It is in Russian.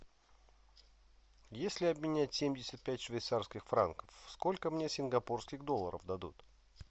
если обменять семьдесят пять швейцарских франков сколько мне сингапурских долларов дадут